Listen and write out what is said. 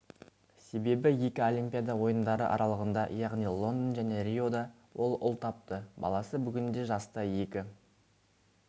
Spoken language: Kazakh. себебі екі олимпиада ойындары аралығында яғни лондон және риода ол ұл тапты баласы бүгінде жаста екі